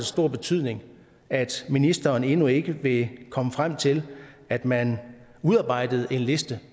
stor betydning at ministeren endnu ikke vil komme frem til at man udarbejder en liste